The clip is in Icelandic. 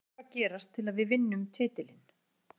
Hvað þarf að gerast til að við vinnum titilinn?